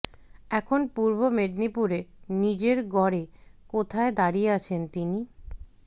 এখন পূর্ব মেদিনীপুরে নিজের গড়ে কোথায় দাঁড়িয়ে আছেন তিনি